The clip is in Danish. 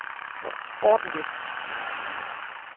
ordentlig